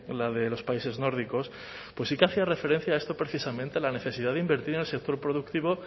la de los países nórdicos pues sí que hacía referencia a esto precisamente la necesidad de invertir en el sector productivo